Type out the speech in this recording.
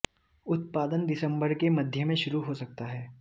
उत्पादन दिसंबर के मध्य में शुरू हो सकता है